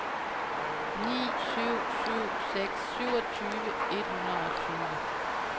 ni syv syv seks syvogtyve et hundrede og tyve